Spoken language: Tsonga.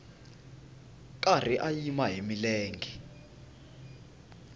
karhi a yima hi milenge